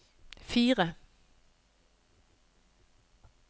fire